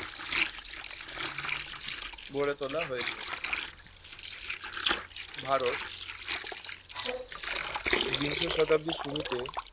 গড়েতোলা হয়েছে ভারত বিংশ শতাব্দীর শুরুতে